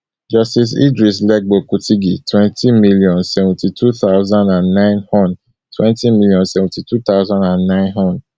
justice idris legbo kutigi twenty million, seventy-two thousand and nine hon twenty million, seventy-two thousand and nine hon